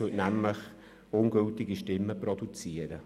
Das würde nämlich zu ungültigen Stimmen führen.